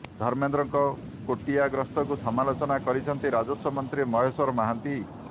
ଧର୍ମେନ୍ଦ୍ରଙ୍କ କୋଟିଆ ଗସ୍ତକୁ ସମାଲୋଚନା କରିଛନ୍ତି ରାଜସ୍ୱ ମନ୍ତ୍ରୀ ମହେଶ୍ୱର ମହାନ୍ତି